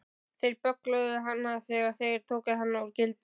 Þeir böggluðu hana þegar þeir tóku hana úr gildrunni.